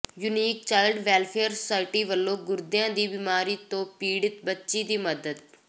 unique child welfare society ਵਲੋਂ ਗੁਰਦਿਆਂ ਦੀ ਬਿਮਾਰੀ ਤੋਂ ਪੀੜਿਤ ਬੱਚੀ ਦੀ ਮਦਦ